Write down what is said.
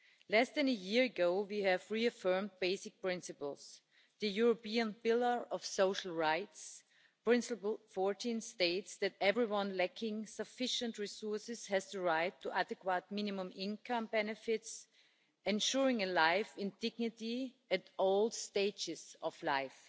Less than a year ago, we reaffirmed the basic principles the European Pillar of Social Rights, Principle 14 states that everyone lacking sufficient resources has the right to adequate minimum income benefits, ensuring a life with dignity at all stages of life.